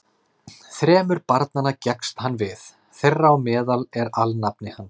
Þremur barnanna gekkst hann við, þeirra á meðal er alnafni hans.